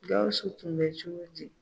Gawsu tun bɛ cogo di?